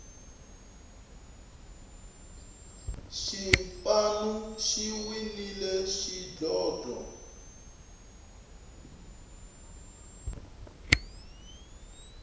xipanu xi winile xidlodlo